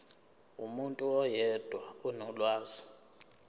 umuntu oyedwa onolwazi